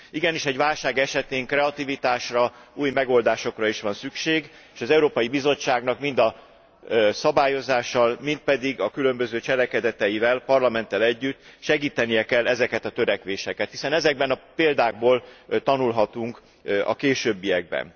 Igenis, egy válság esetén kreativitásra, új megoldásokra is szükség van, és az Európai Bizottságnak mind a szabályozással, mind pedig a különböző cselekedeteivel, a Parlamenttel együtt, segítenie kell ezeket a törekvéseket, hiszen ezekből a példákból tanulhatunk a későbbiekben.